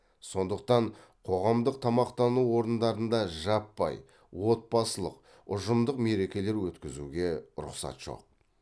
сондықтан қоғамдық тамақтану орындарында жаппай отбасылық ұжымдық мерекелер өткізуге рұқсат жоқ